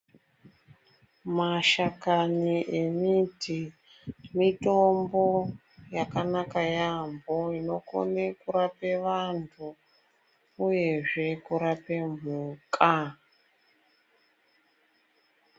Mashakani emiti mitombo yakanaka yaambo inokone kurape vantu uyezve kurape mhuka.